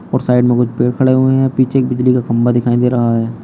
और साइड में कुछ पेड़ खड़े हुए हैं पीछे बिजली का खंबा दिखाई दे रहा है।